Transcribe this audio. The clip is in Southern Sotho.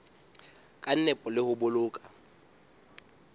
ka nepo le ho boloka